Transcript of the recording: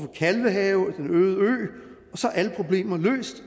kalvehave og den øde ø og så er alle problemer løst